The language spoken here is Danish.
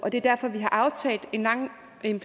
at